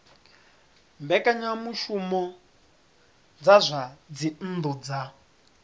mbekanyamushumo dza zwa dzinnu dza